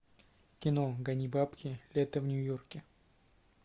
кино гони бабки лето в нью йорке